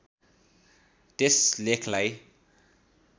त्यस लेखलाई